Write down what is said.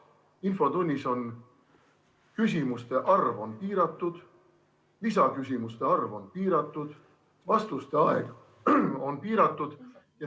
Infotunnis on küsimuste arv piiratud, lisaküsimuste arv piiratud, vastuste aeg samuti piiratud.